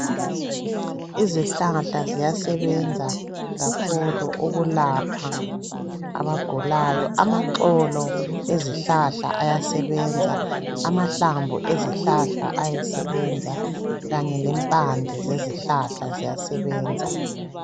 Izihlahla ziyasebenza kakhulu ukulapha abagulayo amaxolo ezihlahla ayasebenza, amahlamvu ezihlahla ayasebenza kanye lempande zezihlahla ziyasebenza.